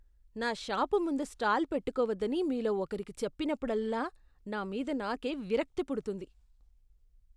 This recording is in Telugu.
నా షాపు ముందు స్టాల్ పెట్టుకోవద్దని మీలో ఒకరికి చెప్పినప్పుడల్లా నా మీద నాకే విరక్తి పుడుతుంది.